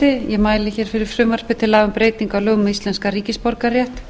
ég mæli hér fyrir frumvarpi til laga um breyting á lögum um íslenskan ríkisborgararétt